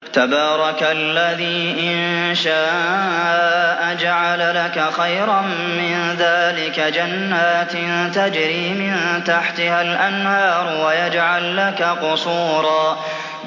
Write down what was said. تَبَارَكَ الَّذِي إِن شَاءَ جَعَلَ لَكَ خَيْرًا مِّن ذَٰلِكَ جَنَّاتٍ تَجْرِي مِن تَحْتِهَا الْأَنْهَارُ وَيَجْعَل لَّكَ قُصُورًا